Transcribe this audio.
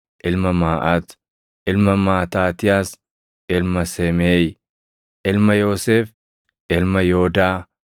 ilma Maaʼat, ilma Maataatiyaas, ilma Semeeʼi, ilma Yoosef, ilma Yoodaa,